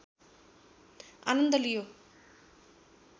आनन्द लियो